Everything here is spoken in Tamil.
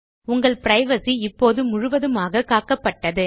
உங்கள் பிரைவசி இப்போது முழுவதுமாக காக்கப்பட்டது